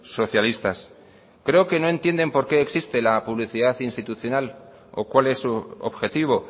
socialistas creo que no entiende por qué existe la publicidad institucional o cuál es su objetivo